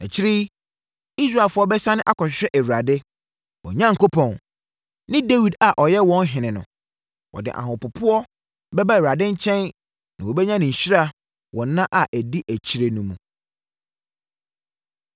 Akyire yi, Israelfoɔ bɛsane akɔhwehwɛ Awurade, wɔn Onyankopɔn, ne Dawid a ɔyɛ wɔn ɔhene no. Wɔde ahopopoɔ bɛba Awurade nkyɛn na wɔbɛnya ne nhyira wɔ nna a ɛdi akyire no mu.